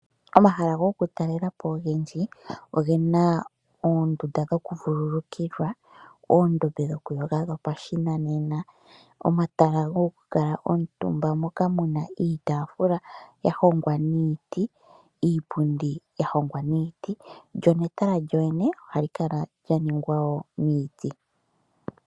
Omahala gokutalelapo ogendji ogena oondunda dhokuvululukilwa oondombe dhokuyoga dhopashinanena omatala goku kala omutumba moka muna iitafula yahongwa miiti iipundi yahongwa miiti lyo netala lyoyene ohali kala lyalongwa miiti.